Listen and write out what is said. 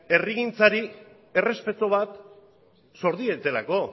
herrigintzari errespetu bat sor dietelako